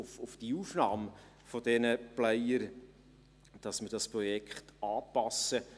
Gestützt auf die Aufnahme dieser Player werden wir das Projekt anpassen.